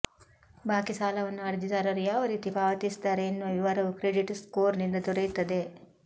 ಬಾಕಿ ಸಾಲವನ್ನು ಅರ್ಜಿದಾರರು ಯಾವ ರೀತಿ ಪಾವತಿಸಿದ್ದಾರೆ ಎನ್ನುವ ವಿವರವೂ ಕ್ರೆಡಿಟ್ ಸ್ಕೋರ್ನಿಂದ ದೊರೆಯುತ್ತದೆ